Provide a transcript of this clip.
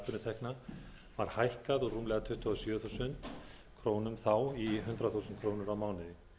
vegna atvinnutekna var hækkað úr rúmlega tuttugu og sjö þúsund krónur þá í hundrað þúsund krónur á mánuði